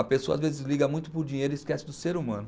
A pessoa às vezes liga muito para o dinheiro e esquece do ser humano.